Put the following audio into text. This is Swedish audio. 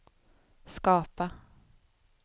skapa